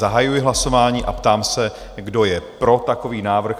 Zahajuji hlasování a ptám se, kdo je pro takový návrh?